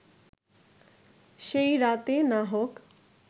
সেই রাতে না হোক